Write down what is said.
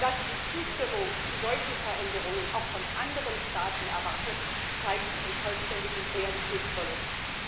Dass sie die Zustimmung zu solchen Veränderungen auch von anderen Staaten erwartet, zeigt ihren vollständigen Realitätsverlust.